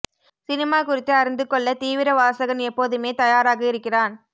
cinema குறித்து அறிந்து கொள்ள தீவிர வாசகன் எப்போதுமே தயாராக இருக்கிறான்